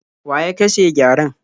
Wa ya kashe gyaren?